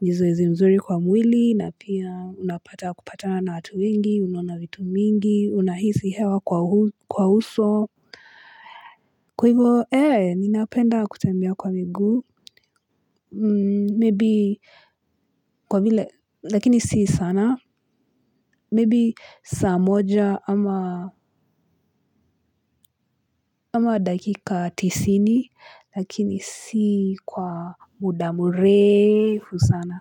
ni zoezi mzuri kwa mwili, na pia unapata kupatana na watu wengi, unaona vitu mingi, unahisi hewa kwa uso. Kwa hivyo, ee, ninapenda kutembea kwa miguu, maybe kwa vile, lakini si sana, maybe saa moja ama dakika tisini, lakini si kwa muda mrefu sana.